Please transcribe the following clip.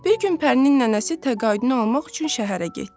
Bir gün Pərinin nənəsi təqaüdünü almaq üçün şəhərə getdi.